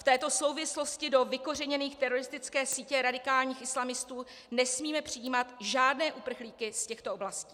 V této souvislosti do vykořeněné teroristické sítě radikálních islamistů nesmíme přijímat žádné uprchlíky z těchto oblastí.